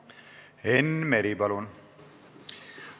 Enn Meri, palun!